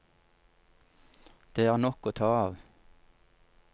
Det er nok å ta av.